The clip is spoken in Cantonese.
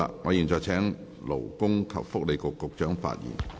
我現在請勞工及福利局局長發言。